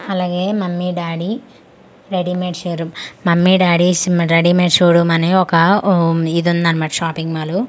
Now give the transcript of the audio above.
అలాగే mummy daddy ready made show room mummy daddy's ready made show room అని ఒక ఊ ఇది ఉందనమాట షాపింగ్ మాల్ .